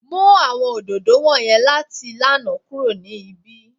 Mu awọn ododo wọnyẹn lati lana kuro ni ibi!